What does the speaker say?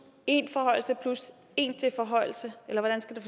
en forhøjelse plus en til forhøjelse eller hvordan skal